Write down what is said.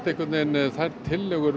þær tillögur